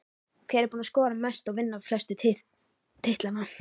Hver er búinn að skora mest og vinna flestu titlana?